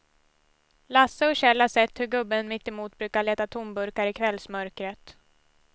Lasse och Kjell har sett hur gubben mittemot brukar leta tomburkar i kvällsmörkret.